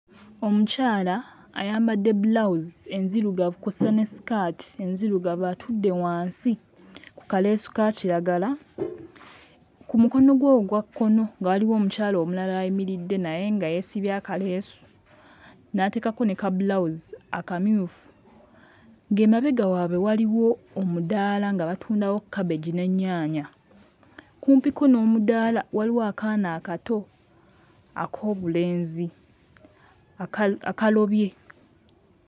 Omukyala ayambadde bbulawuzi enzirugavu kw'ossa ne ssikaati enzirugavu atudde wansi ku kaleesu ka kiragala ku mukono gwe ogwa kkono nga waliwo omukyala omulala ayimiridde naye nga yeesibye akaleesu n'ateekako ne kabbulawuzi akamyufu ng'emabega waabwe waliwo omudaala nga batundawo cabbage n'ennyaanya. Kumpiko n'omudaala waliwo akaana akato ak'obulenzi aka akalobye.